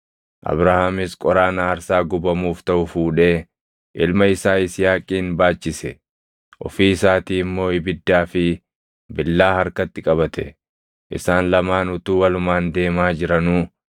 Abrahaamis qoraan aarsaa gubamuuf taʼu fuudhee ilma isaa Yisihaaqin baachise; ofii isaatii immoo ibiddaa fi billaa harkatti qabate. Isaan lamaan utuu walumaan deemaa jiranuu,